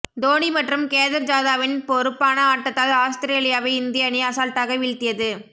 தோனி மற்றும் கேதர் ஜாதவின் பொறுப்பான ஆட்டத்தால் ஆஸ்திரேலியாவை இந்திய அணி அசால்ட்டாக வீழ்த்தியது